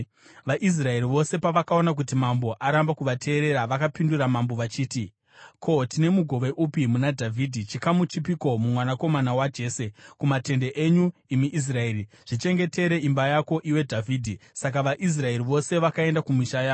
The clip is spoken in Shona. VaIsraeri vose pavakaona kuti mambo aramba kuvateerera, vakapindura mambo vachiti, “Ko, tine mugove upi muna Dhavhidhi, chikamu chipiko mumwanakomana waJese? Kumatende enyu, imi Israeri! Zvichengetere imba yako, iwe Dhavhidhi!” Saka vaIsraeri vose vakaenda kumisha yavo.